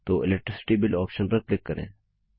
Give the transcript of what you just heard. तो electricity bill option पर click करें